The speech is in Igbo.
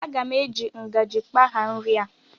Aga m eji ngajị kpagha nri a